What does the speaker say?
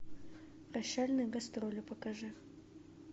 прощальные гастроли покажи